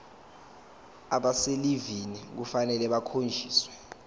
abaselivini kufanele bakhonjiswe